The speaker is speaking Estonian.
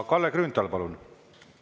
Kalle Grünthal, palun!